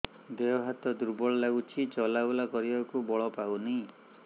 ଦେହ ହାତ ଦୁର୍ବଳ ଲାଗୁଛି ଚଲାବୁଲା କରିବାକୁ ବଳ ପାଉନି